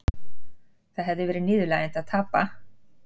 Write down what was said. Það hefði verið niðurlægjandi að tapa